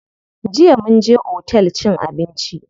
Jiya mun je otel cin abinci.